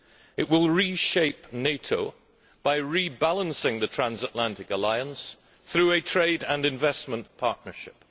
It will reshape NATO by rebalancing the transatlantic alliance through a trade and investment partnership.